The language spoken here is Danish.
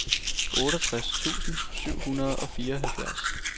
otteogtres tusind syv hundrede og fireoghalvfjerds